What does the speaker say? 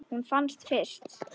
Hún fannst fyrst.